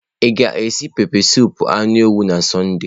Ị ga-esi esi pepesụpụ anụ ewu na Sọnde?